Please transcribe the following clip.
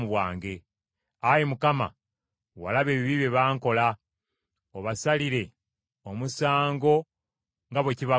Ayi Mukama , walaba ebibi bye bankola, obasalire omusango nga bwe kibagwanira.